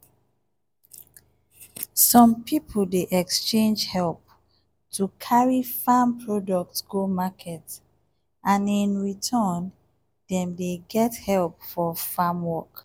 some people dey exchange help to carry farm products go market and in return dem dey get help for farm work.